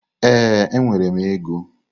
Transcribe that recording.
Ee, enwere m ego.